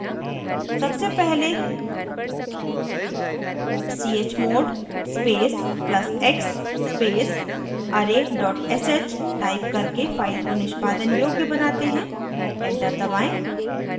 सबसे पहले chmod space plus x space array sh type करके file को निष्पादन योग्य बनाते हैं enter दबाएं